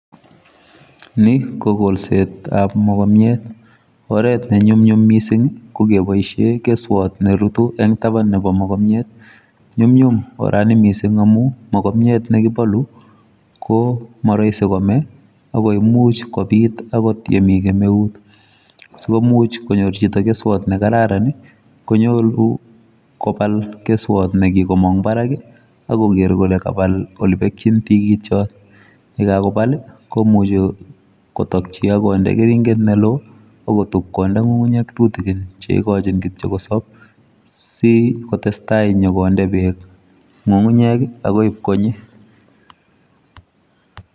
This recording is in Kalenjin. Nii KO kolseet ap.mogomiet nyum nyum oranii mising amun mogomnyeet neimuch koipal koyacheee kopal kerinhet neloooo akondeeee ngungunyek chengeringen